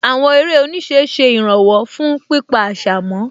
Àwọn eré oníṣẹ́ ṣe ìràwọ̀ fún pípa àṣà mọ́